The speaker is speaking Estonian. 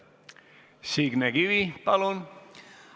Signe Kivi, palun!